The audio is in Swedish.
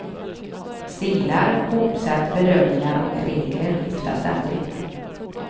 Stilar, hoppsätt, bedömningar och regler skiftar ständigt.